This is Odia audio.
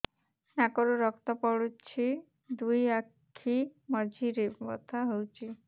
ନାକରୁ ରକ୍ତ ପଡୁଛି ଦୁଇ ଆଖି ମଝିରେ ବଥା ହଉଚି